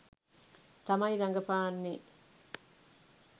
තමයි රඟපාන්නේ.